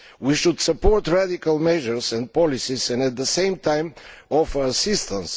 We should support radical measures and policies and at the same time offer assistance.